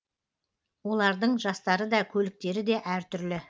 олардың жастары да көліктері де әр түрлі